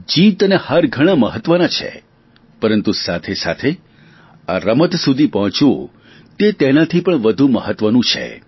જીત અને હાર ઘણા મહત્વના છે પરંતુ સાથે સાથે આ રમત સુધી પહોંચવું તે તેનાથી પણ વધુ મહત્વનું છે